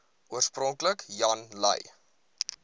oorspronklik jan lui